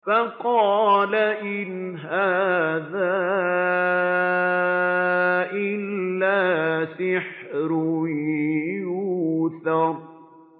فَقَالَ إِنْ هَٰذَا إِلَّا سِحْرٌ يُؤْثَرُ